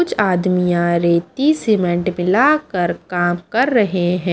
कुछ आदमियां रेती सीमेंट मिलाकर काम कर रहे हैं।